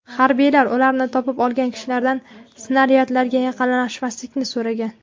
Harbiylar ularni topib olgan kishilardan snaryadlarga yaqinlashmaslikni so‘ragan.